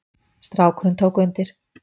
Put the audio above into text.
Strákurinn tók undir.